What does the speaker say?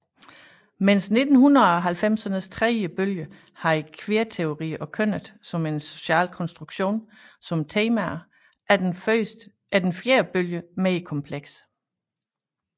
Medens 1990ernes tredje bølge havde queerteori og kønnet som en social konstruktion som temaer er den fjerde bølge mere kompleks